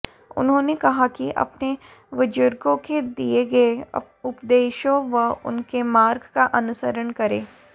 उन्होंने कहा कि अपने बुजुर्गों के दिये गये उपदेशों व उनके मार्ग का अनुसरण करें